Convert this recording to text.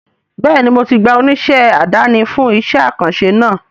Bẹ́ẹ̀ni mo ti gba oníṣẹ́ àdáni fún iṣẹ́ àkànṣe náà